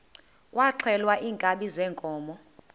kwaxhelwa iinkabi zeenkomo